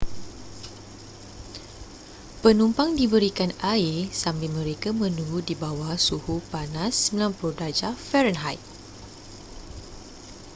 penumpang diberikan air sambil mereka menunggu di bawah suhu panas 90°f